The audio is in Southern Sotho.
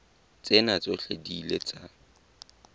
tsena tsohle di ile tsa